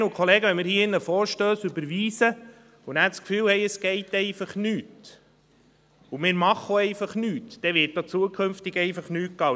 Kolleginnen und Kollegen, wenn wir hier im Saal Vorstösse überweisen und dann das Gefühl haben, es laufe nichts, und wir machen auch nichts, dann wird auch zukünftig nichts laufen.